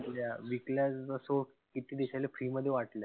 विकल्या असो किती देशाले free मध्ये वाटल्या.